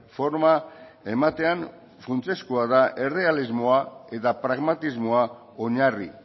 forma ematean funtsezkoa da errealismoa eta pragmatismoa oinarri